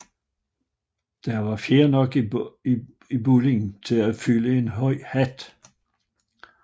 Der var fjer nok i bolden til at fylde en høj hat